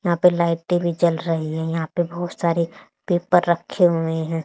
यहां पे लाइटे भी जल रही है यहां पे बहोत सारे पेपर रखे हुए हैं।